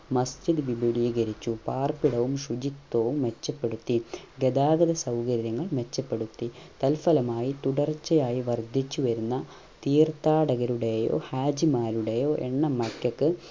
മസ്ജിദ് വിപുകലീരിച്ചു പാർപ്പിടവും ശുചിത്വവും മെച്ചപ്പെടുത്തി ഗതാഗത സൗകര്യങ്ങൾ മെച്ചപെടുത്തി തൽഫലമായി തുടർച്ചയായി വർധിച്ചു വരുന്ന തീർത്ഥാടകരുടെയോ ഹാജിമാരുടെയോ എണ്ണമറ്